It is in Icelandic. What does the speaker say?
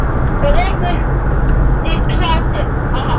Og rekur upp hlátur.